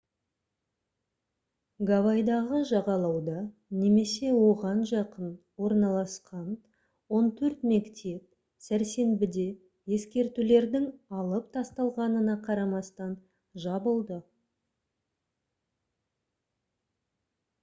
гавайдағы жағалауда немесе оған жақын орналасқан он төрт мектеп сәрсенбіде ескертулердің алып тасталғанына қарамастан жабылды